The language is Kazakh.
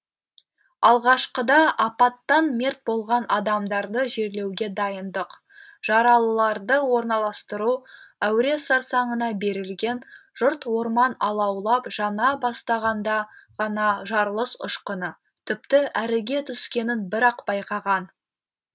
алғашқыда апаттан мерт болған адамдарды жерлеуге дайындық жаралыларды орналастыру әуре сарсаңына берілген жұрт орман алаулап жана бастағанда ғана жарылыс ұшқыны тіпті әріге түскенін бір ақ байқаған